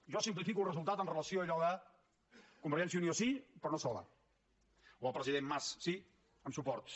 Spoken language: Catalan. jo simplifico el resultat amb relació a allò de convergència i unió sí però no sola o el president mas sí amb suports